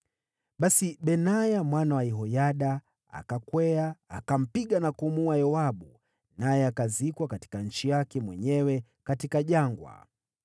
Basi Benaya mwana wa Yehoyada akakwea, akampiga na kumuua Yoabu, naye akazikwa katika nchi yake mwenyewe katika jangwa.